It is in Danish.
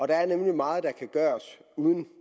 der er nemlig meget der kan gøres uden